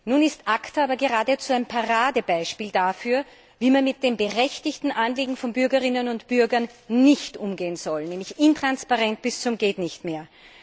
Nun ist ACTA aber geradezu ein Paradebeispiel dafür, wie man mit den berechtigten Anliegen von Bürgerinnen und Bürgern nicht umgehen soll nämlich intransparent bis zum Gehtnichtmehr.